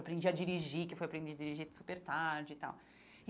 Aprendi a dirigir, que eu fui aprender a dirigir super tarde e tal e.